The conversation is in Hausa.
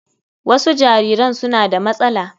Wasu jariran suna da matsala.